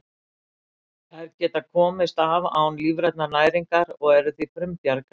Þær geta komist af án lífrænnar næringar og eru því frumbjarga.